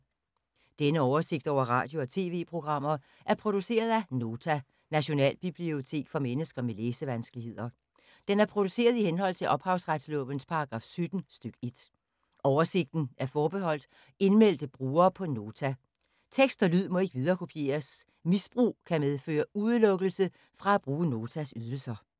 Denne oversigt over radio og TV-programmer er produceret af Nota, Nationalbibliotek for mennesker med læsevanskeligheder. Den er produceret i henhold til ophavsretslovens paragraf 17 stk. 1. Oversigten er forbeholdt indmeldte brugere på Nota. Tekst og lyd må ikke viderekopieres. Misbrug kan medføre udelukkelse fra at bruge Notas ydelser.